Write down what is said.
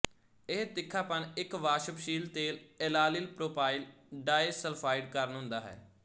ਇਹ ਤਿੱਖਾਪਨ ਇੱਕ ਵਾਸ਼ਪਸ਼ੀਲ ਤੇਲ ਏਲਾਇਲ ਪ੍ਰੋਪਾਇਲ ਡਾਏ ਸਲਫਾਇਡ ਕਾਰਨ ਹੁੰਦਾ ਹੈ